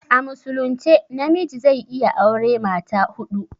A musulunce na miji zai iya aure mata huɗu